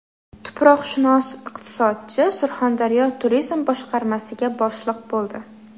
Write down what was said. Tuproqshunos-iqtisodchi Surxondaryo turizm boshqarmasiga boshliq bo‘ldi.